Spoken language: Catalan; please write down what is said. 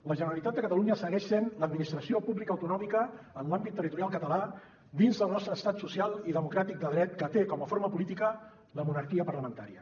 la generalitat de catalunya segueix sent l’administració pública autonòmica en l’àmbit territorial català dins del nostre estat social i democràtic de dret que té com a forma política la monarquia parlamentària